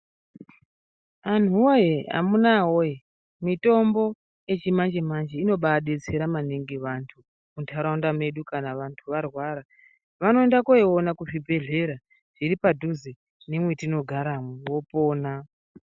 Anhuwoye amunawoye mitombo yechimanje manje inobadetsera maningi vantu munturaunda mwedu kana vantu varwara vanoenda koiona kuzvibhedhlera zviri padhuze nemwetinogara vopona.